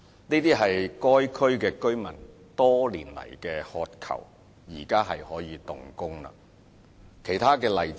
這些是該區居民多年來所渴求的措施，現在可以動工了。